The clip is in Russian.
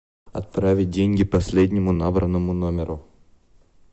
отправить деньги последнему набранному номеру